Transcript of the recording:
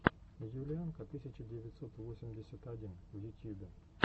юлианка тысяча девятьсот восемьдесят один в ютьюбе